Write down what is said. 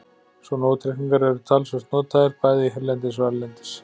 Svona útreikningar eru talsvert notaðir, bæði hérlendis og erlendis.